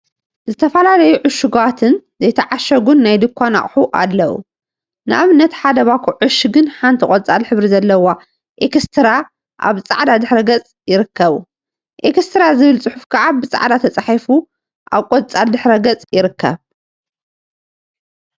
ዝተፈላለዩ ዕሹጋትን ዘይተዓሸጉን ናይ ድንኳን አቁሑ አለው፡፡ ንአብነት ሓደ ባኮ ዕሽግን ሓንቲን ቆፃል ሕብሪ ዘለዎ ኤክስትራ አብ ፃዕዳ ድሕረ ገፅ ይርከቡ፡፡ ኤክስትራ ዝብል ፅሑፍ ከዓ ብፃዕዳ ተፃሒፉ አብ ቆፃል ድሕረ ገፅ ይርከቡ፡፡